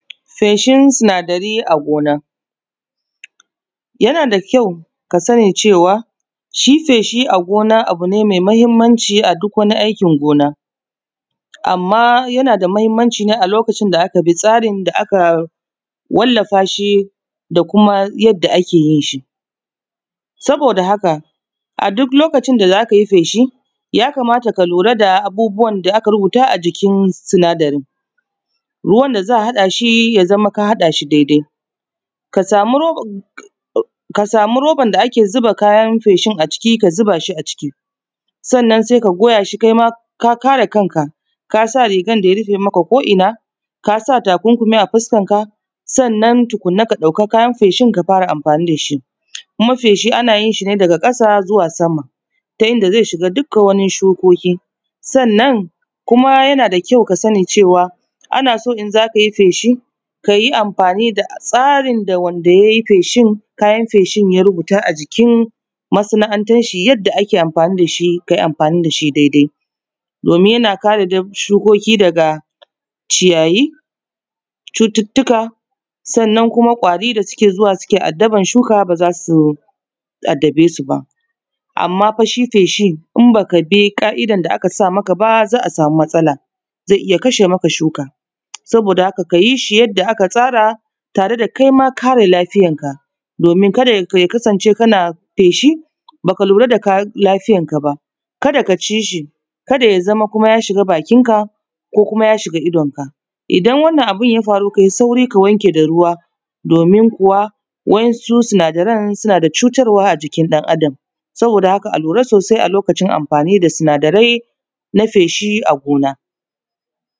Feshin sinadari a gona, yana da kyau ka sani cewa shi feshi a gona abu ne mai mahimmanci a duk wani aikin gona. Amma yana da mahimmanci ne a lokacin da aka bi tsarin da aka walllafa shi da kuma yadda ake yin shi saboda haka, a duk lokacin da za ka yi feshi ya kamata ka lura da abubuwan da aka rubuta ajikin sinadari ruwan da za a haɗa shi ya zama ka haɗa shi daidai, ka samu roban da ake zuba kayan feshin a ciki ka zuba shi a ciki, sannan sai ka goya shi kai ma ka kare kanka, ka sa rigan da ya rufe maka ko ina, ka sa takunkumi a fuskan ka, sannan tukunna ka ɗauka kayan feshin ka fara amfani da shi. Kuma feshi ana yin shi ne daga ƙasa zuwa sama ta inda zai shiga dukka wani shukoki sannan kuma yana da kyau ka sani cewa ana so in za ka yi feshi ka yi amfani da tsarin da wanda ya yi feshin kayan feshin ya rubuta a jikin masana’antanshi yanda ake amfani da shi. Ka yi amfani da shi daidai domin yana kare shukoki daga ciyayi, cututtuka sannan kuma kwari da suke zuwa suke addaban shuka ba za su addabe shi ba. Amma fa shi feshin in ba ka bi ƙa’idan da aka sa maka ba za a samu matsala zai iya kashe maka shuka saboda haka ka yi shi yadda aka tsara tare da kaima kare lafiyarka domin ka da ya kasance kana feshi ba ka lura da lafiyarka ba, ka da ka ci shi, ka da ya zama kuma ya shiga bakinka ko kuma ya shiga idonka, idan wannan abun ya faru kai suari ka wanke da ruwa domin kuwa waɗansu sinadaran suna da cutarwa a jikin ɗan’Adam saboda haka a lura sosai a lokacin amfani da sinadarai na feshi, a gona.